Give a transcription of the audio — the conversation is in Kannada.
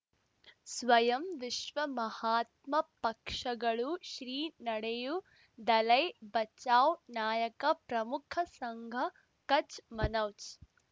ಸ್ವಯಂ ವಿಶ್ವ ಮಹಾತ್ಮ ಪಕ್ಷಗಳು ಶ್ರೀ ನಡೆಯೂ ದಲೈ ಬಚೌ ನಾಯಕ ಪ್ರಮುಖ ಸಂಘ ಕಚ್ ಮನೋಜ್